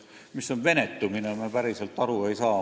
Mis on venetumine, sellest me päriselt aru ei saa.